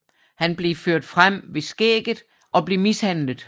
Han blev ført frem ved skægget og blev mishandlet